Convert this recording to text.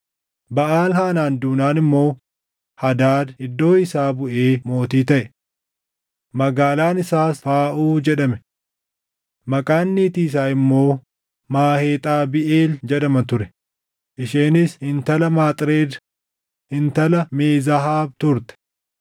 Baʼaal-Haanaan duunaan immoo Hadaad iddoo isaa buʼee mootii taʼe. Magaalaan isaas Faaʼuu jedhame. Maqaan niitii isaa immoo Maheexabiʼeel jedhama ture; isheenis intala Maxreed, intala Mee-Zaahaab turte.